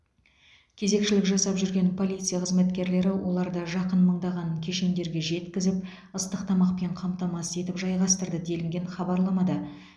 кезекшілік жасап жүрген полиция қызметкерлері оларды жақын мыңдаған кешендерге жеткізіп ыстық тамақпен қамтамасыз етіп жайғастырды делінген хабарламада